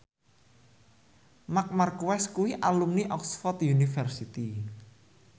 Marc Marquez kuwi alumni Oxford university